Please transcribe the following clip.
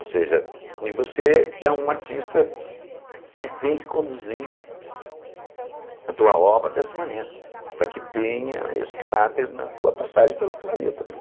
Ou seja, e você é um artista que tem que conduzir a tua obra dessa maneira, para que tenha esse caráter na tua passagem pelo planeta.